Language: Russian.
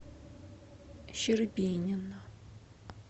щербинина